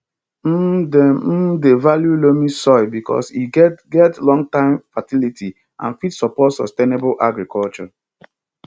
um dem um dey value loamy soil because e get get longterm fertility and fit support sustainable agriculture